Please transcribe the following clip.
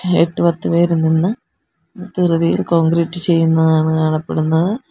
എട്ടു പത്ത് പേര് നിന്ന് ധൃതിയിൽ കോൺക്രീറ്റ് ചെയ്യുന്നതാണ് കാണപ്പെടുന്നത്.